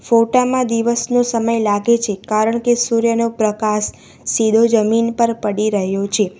ફોટા માં દિવસનો સમય લાગે છે કારણ કે સૂર્યનો પ્રકાસ સીધો જમીન પર પડી રહ્યો છે.